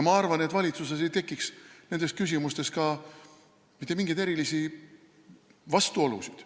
Ma arvan, et valitsuses ei tekiks nendes küsimustes mitte mingeid erilisi vastuolusid.